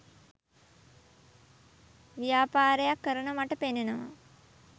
ව්‍යාපාරයක් කරන මට පෙනෙනවා